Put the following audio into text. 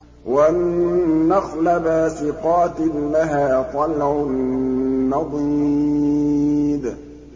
وَالنَّخْلَ بَاسِقَاتٍ لَّهَا طَلْعٌ نَّضِيدٌ